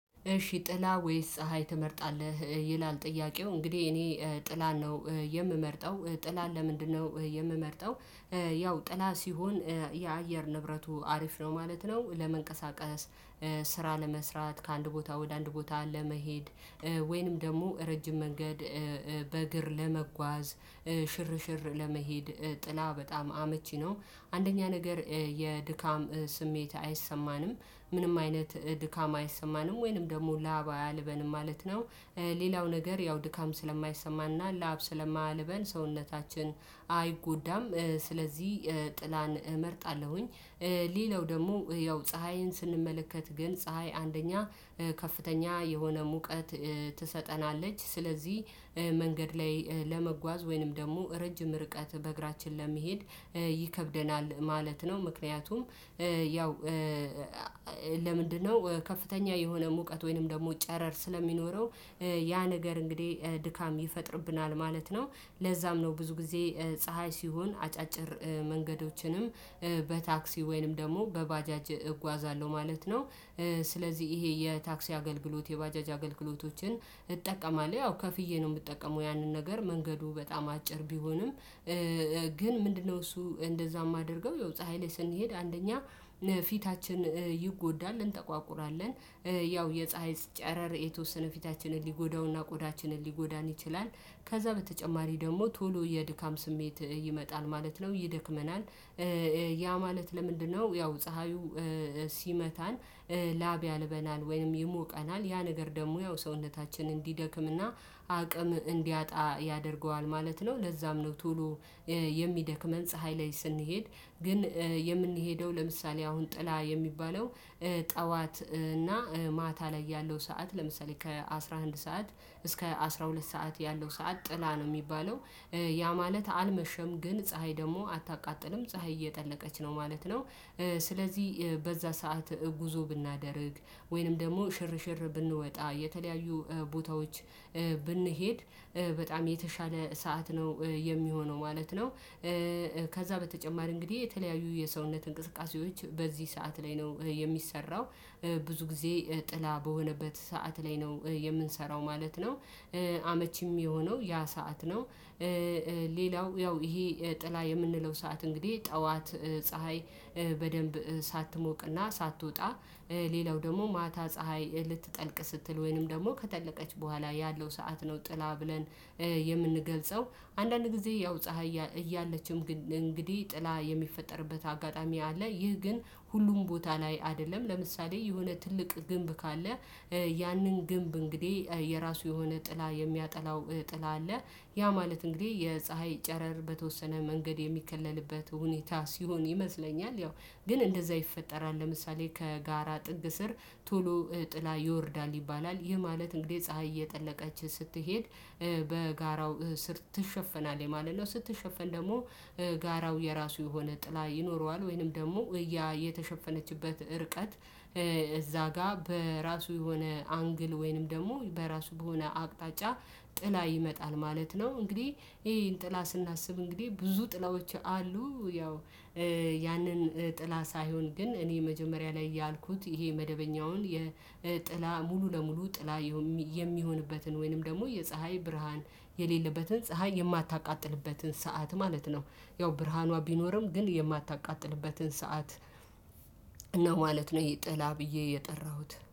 እሺ ጥላ ወይስ ፀሀይ ትመርጣለህ? ይላል ጥያቄው እንግዲህ እኔ ጥላን ነው የምመርጠው ጥላን ለምንድነው የምመርጠው። ያው ጥላ ሲሆን የአየር ንብረቱ አሪፍ ነው ማለት ነው። ለመንቀሳቀስ ስራ ለመስራት ከአንድ ቦታ ወደ አንድ ቦታ ለመሄድ ወይንም ደግሞ ረጅም መንገድ በእግር ለመጓዝ ሽርሽር ለመሄድ ጥላ በጣም አመቺ ነው። አንደኛ ነገር የድካም ስሜት አይሰማንም ምንም አይነት ድካም አይሰማንም ወይንም ደግሞ ላብ አያልበንም ማለት ነው። ሌላው ነገር ያው ድካም ስለማይሰማና ላብ ስለማያልበን ሰውነታችን አይጎዳም ስለዚህ ጥላን እመርጣለሁኝ። ሌለው ደግሞ ያው ፀሀይን ስንመለከት ግን ፀሀይ አንደኛ ከፍተኛ የሆነ ሙቀት ትሰጠናለች ስለዚህ መንገድ ላይ ለመጓዝ ወይንም ደግሞ ረጅም ርቀት በእግራችን ለመሄድ ይከብደናል ማለት ነው። ምክንያቱም ያው ለምንድነው ከፍተኛ የሆነ ሙቀት ወይንም ደግሞ ጨረር ስለሚኖረው ያ ነገር እንግዲህ ድካም ይፈጥርብናል ማለት ነው። ለዛም ነው ብዙ ጊዜ ፀሀይ ሲሆን አጫጭር መንገዶችንም በታክሲ ወይንም ደግሞ በባጃጅ እጓዛለሁ ማለት ነው። ስለዚህ ይሄ የታክሲ አገልግሎት የባጃጅ አገልግሎቶችን እጠቀማለሁ ያው ከፍዬ ነው የምጠቀመው ያንን ነገር መንገዱ በጣም አጭር ቢሆንም። ግን ምንድነው እሱ እንደዛ የማደርገው የው ፀሀይ ላይ ስንሄድ አንደኛ ፊታችን ይጎዳል እንጠቋቁራለን። ያው የፀሀይ ጨረር የተወሰነ ፊታችንን ሊጎዳውና ቆዳችንን ሊጎዳን ይችላል። ከዛ በተጨማሪ ደግሞ ቶሎ የድካም ስሜት ይመጣል ማለት ነው ይደክመናል። ያ ማለት ለምንድነው ያው ፀሀዩ ሲመታን ላብ ያልበናል ወይም ይሞቀናል ያ ነገር ደግሞ ያው ሰውነታችን እንዲደክም እና አቅም እንዲያጣ ያደርገዋል ማለት ነው። ለዛም ነው ቶሎ የሚደክመን ፀሀይ ላይ ስንሄድ ግን የምንሄደው ለምሳሌ አሁን ጥላ የሚባለው ጠዋት እና ማታ ላይ ያለው ሰዓት ለምሳሌ ከአሥራ አንድ ሰዓት እስከ አስራ ሁለት ሰዓት ያለው ሰዓት ጥላ ነው የሚባለው። ያ ማለት አልመሸም ግን ፀሀይ ደግሞ አታቃጥልም ፀሀይ እየጠለቀች ነው ማለት ነው። ስለዚህ በዛ ሰዓት ጉዞ ብናደርግ ወይንም ደግሞ ሽርሽር ብንወጣ የተለያዩ ቦታዎች ብንሄድ በጣም የተሻለ ሰዓት ነው የሚሆነው ማለት ነው። ከዛ በተጨማሪ እንግዲህ የተለያዩ የሰውነት እንቅስቃሴዎች በዚህ ሰዓት ላይ ነው የሚሰራው ብዙ ጊዜ ጥላ በሆነበት ሰዓት ላይ ነው የምንሰራው ማለት ነው። አመቺም የሆነው ያ ሰዓት ነው። ሌላው ያው ይሄ ጥላ የምንለው ሰዓት እንግዲህ ጠዋት ፀሀይ በደንብ ሳትሞቅና ሳትወጣ። ሌላው ደግሞ ማታ ፀሀይ ልትጠልቅ ስትል ወይንም ደግሞ ከጠለቀች በኋላ ያለው ሰዓት ነው ጥላ ብለን የምንገልጸው አንዳንድ ጊዜ ያው ፀሀይ እያለችም እንግዲህ ጥላ የሚፈጠርበት አጋጣሚ አለ። ይህ ግን ሁሉም ቦታ ላይ አይደለም ለምሳሌ የሆነ ትልቅ ግንብ ካለ። ያንን ግንብ እንግዲህ የራሱ የሆነ ጥላ የሚያጠላው ጥላ አለ። ያ ማለት እንግዲህ የፀሀይ ጨረር በተወሰነ መንገድ የሚከለልበት ሁኔታ ሲሆን ይመስለኛል። ያው ግን እንደዛ ይፈጠራል ለምሳሌ ከጋራ ጥግ ስር ቶሎ ጥላ ይወርዳል ይባላል ይህ ማለት እንግዲህ ፀሀይ እየጠለቀች ስትሄድ በጋራው ስር ትሸፍናለህ የማለት ነው። ስትሸፍን ደግሞ ጋራው የራሱ የሆነ ጥላ ይኖረዋል። ወይንም ደግሞ የተሸፈነችበት ርቀት እዛ ጋር በራሱ የሆነ አንግል ወይንም ደግሞ በራሱ በሆነ አቅጣጫ ጥላ ይመጣል ማለት ነው። እንግዲህ ይሄን ጥላ ስናስብ እንግዲህ ብዙ ጥላዎች አሉ። ያው ያንን ጥላ ሳይሆን ግን እኔ መጀመሪያ ላይ ያልኩት ይሄ መደበኛውን የጥላ ሙሉ ለሙሉ ጥላ የሚሆንበትን ወይንም ደግሞ የፀሀይ ብርሃን የሌለበትን ፀሀይ የማታቃጥልበትን ሰዓት ማለት ነው። ያው ብርሃኗ ቢኖርም ግን የማታቃጥልበትን ሰዓት ነው ማለት ነው። ይጥላ ብዬ የጠራሁት